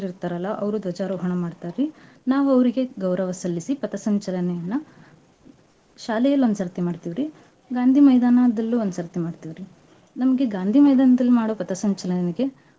ಇರ್ತರಲ್ಲ ಅವ್ರು ದ್ವಜಾರೋಹಣ ಮಾಡ್ತಾರೀ ನಾವ್ ಅವ್ರಿಗೆ ಗೌರವ ಸಲ್ಲಿಸಿ ಪಥಸಂಚಲನೆಯನ್ನ ಶಾಲೆಯಲ್ಲಿ ಒಂದ್ಸರ್ತಿ ಮಾಡ್ತಿವ್ರೀ ಗಾಂಧೀ ಮೈದಾನದಲ್ಲೂ ಒಂದ್ಸರ್ತಿ ಮಾಡ್ತೇವ್ರೀ. ನಮ್ಗೆ ಗಾಂಧೀ ಮೈದಾನದಲ್ಲಿ ಮಾಡೋ ಪಥಸಂಚಲನಕ್ಕೆ.